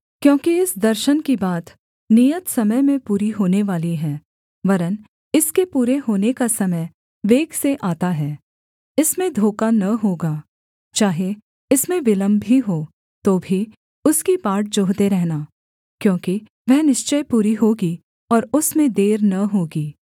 क्योंकि इस दर्शन की बात नियत समय में पूरी होनेवाली है वरन् इसके पूरे होने का समय वेग से आता है इसमें धोखा न होगा चाहे इसमें विलम्ब भी हो तो भी उसकी बाट जोहते रहना क्योंकि वह निश्चय पूरी होगी और उसमें देर न होगी